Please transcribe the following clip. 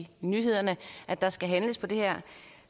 i nyhederne at der skal handles på det her